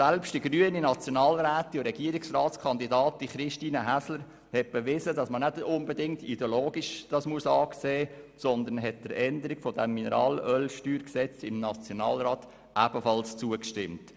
Selbst die grüne Nationalrätin und Regierungsratskandidatin Christine Häsler hat bewiesen, dass man das nicht unbedingt ideologisch betrachten muss und hat der Änderung des Mineralölsteuergesetzes im Nationalrat ebenfalls zugestimmt.